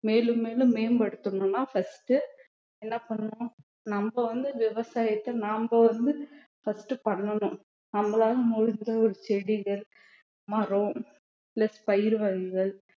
மேலும் மேலும் மேம்படுத்தணும்ன்னா first என்ன பண்ணணும் நம்ம வந்து விவசாயத்தை நாம வந்து first பண்ணனும் நம்மளால முடிஞ்ச ஒரு செடிகள் மரம் plus பயிர் வகைகள்